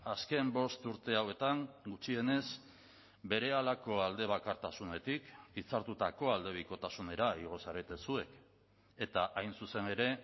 azken bost urte hauetan gutxienez berehalako aldebakartasunetik hitzartutako aldebikotasunera igo zarete zuek eta hain zuzen ere